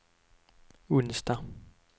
onsdag